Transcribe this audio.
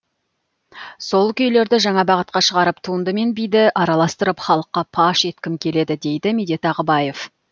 сол күйлерді жаңа бағытқа шығарып туынды мен биді араластырып халыққа паш еткім келеді дейді медет ағыбаев